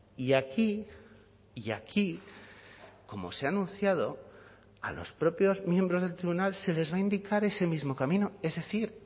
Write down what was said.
y aquí y aquí como se ha anunciado a los propios miembros del tribunal se les va a indicar ese mismo camino es decir